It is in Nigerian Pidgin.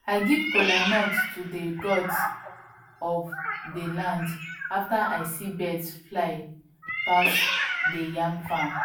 i give kolanut to dey gods of dey land after i see birds fly pass deyyam farm